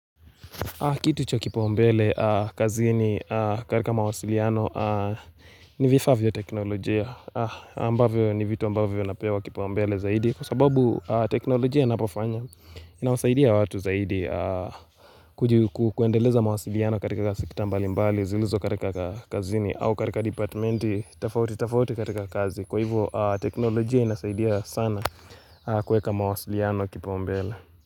Kitu cha kipaumbele kazini katika mawasiliano ni vifaa vya teknolojia ambavyo ni vitu ambavyo vinapewa kipaumbele zaidi kwa sababu teknolojia inapofanya inawasaidia watu zaidi kuendeleza mawasiliano katika sekta mbali mbali. Zilizo katika kazini au katika dipatimenti tafauti tafauti katika kazi kwa hivyo teknolojia inasaidia sana kueka mawasiliano kipaumbele Muzika.